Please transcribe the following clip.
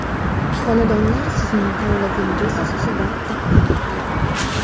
Xonadonlar sizning tanlovingiz asosida taqdim etiladi.